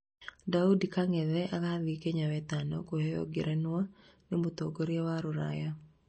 Daudi kang'ethe agathiĩ Kenya wetano kuheo ngerenwa nĩ mũtongoria wa rũraya